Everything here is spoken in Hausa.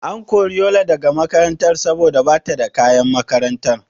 An kori Yola daga makaranta saboda bata da kayan makaranta?